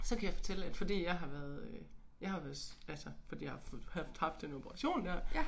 Så kan jeg fortælle at fordi jeg har været øh jeg har været altså fordi jeg har fået haft haft den operation der